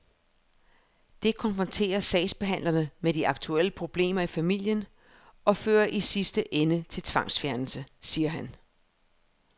Det konfronterer sagsbehandlerne med de aktuelle problemer i familien og fører i sidste ende til tvangsfjernelse, siger han.